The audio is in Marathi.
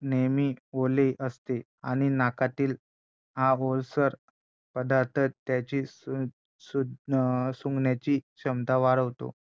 नेहमी ओले असते आणि नाकातील हा ओलसर पदार्थ त्यांची सुंध अं सूंघण्याची क्षमता वाढवतो